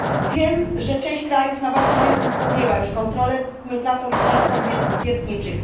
Wiem, że część krajów na własną rękę podjęła już kontrolę platform wiertniczych.